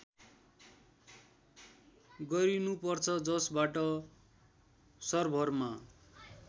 गरिनुपर्छ जसबाट सर्भरमा